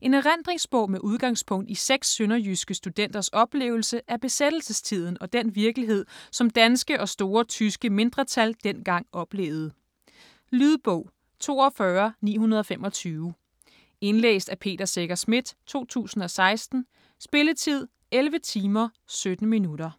En erindringsbog med udgangspunkt i seks sønderjyske studenters oplevelse af besættelsestiden og den virkelighed, som danske og store tyske mindretal dengang oplevede. Lydbog 42925 Indlæst af Peter Secher Schmidt, 2016. Spilletid: 11 timer, 17 minutter.